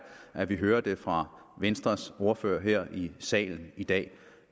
at vi hører det fra venstres ordfører her i salen i dag